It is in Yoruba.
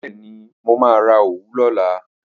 Bẹ́ẹ̀ni, mo máa ra òwú lọ́la